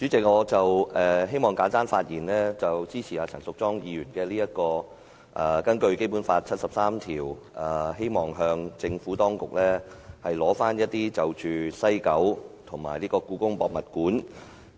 主席，我希望簡單發言，支持陳淑莊議員根據《基本法》第七十三條動議的議案，向政府當局索取西九文化區和香港故宮文化博物館